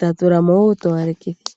tatula mo woo uutowalekitho.